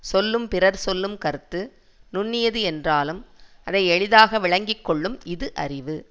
சொல்லும் பிறர் சொல்லும் கருத்து நுண்ணியது என்றாலும் அதை எளிதாக விளங்கி கொள்ளும் இது அறிவு